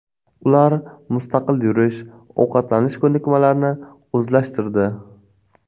Ular mustaqil yurish, ovqatlanish ko‘nikmalarini o‘zlashtirdi.